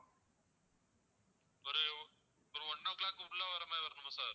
ஒரு ஒரு one o'clock குள்ள வர்ற மாதிரி வரணுமா sir